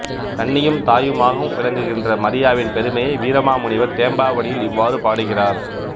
கன்னியும் தாயுமாகவும் விளங்குகின்ற மரியாவின் பெருமையை வீரமாமுனிவர் தேம்பாவணியில் இவ்வாறு பாடுகிறார்